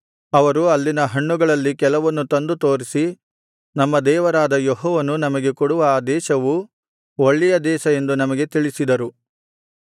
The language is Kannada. ಅವರು ಅಲ್ಲಿನ ಹಣ್ಣುಗಳಲ್ಲಿ ಕೆಲವನ್ನು ತಂದು ತೋರಿಸಿ ನಮ್ಮ ದೇವರಾದ ಯೆಹೋವನು ನಮಗೆ ಕೊಡುವ ಆ ದೇಶವು ಒಳ್ಳೆಯ ದೇಶ ಎಂದು ನಮಗೆ ತಿಳಿಸಿದರು